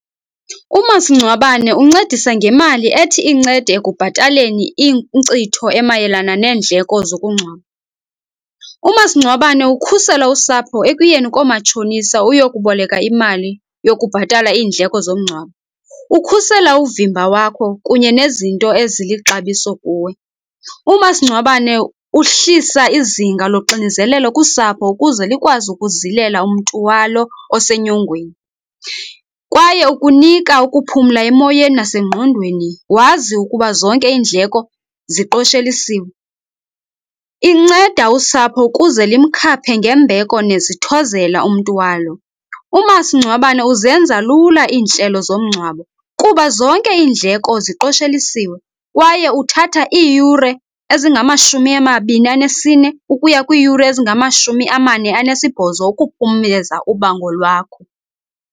Umasingcwabane uncedisa ngemali ethi incede ekubhataleni inkcitho emayelana neendleko zokungcwaba. Umasingcwabane ukhusela usapho ekuyeni koomatshonisa uyokuboleka imali yokubhatala iindleko zomngcwabo. Ukhusela uvimba wakho kunye nezinto ezilixabiso kuwe. Umasingcwabane uhlisa izinga loxinizelelo kusapho ukuze likwazi ukuzilela umntu walo osenyongweni, kwaye ukunika ukuphumla emoyeni nasengqondweni wazi ukuba zonke iindleko ziqoshelisiwe. Inceda usapho ukuze limkhaphe ngembeko nezithozela umntu walo. Umasingcwabane uzenza lula iintlelo zomngcwabo kuba zonke indleko ziqoshelisiwe, kwaye uthatha iiyure ezingamashumi amabini anesine ukuya kwiiyure ezingamashumi amane anesibhozo ukuphumeza ubango lwakho.